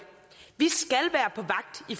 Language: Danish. vi